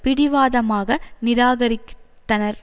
பிடிவாதமாக நிராகரித்தனர்